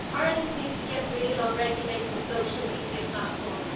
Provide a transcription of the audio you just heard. Ireland needs to get real on regulating social media platforms.